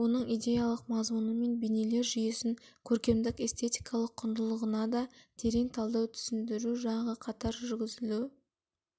оның идеялық мазмұны мен бейнелер жүйесін көркемдік-эстетикалық құндылығына да терең талдау түсіндіру жағы қатар жүргізілу